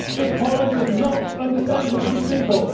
This Parliament does not understand the British people.